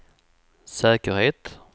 säkerhet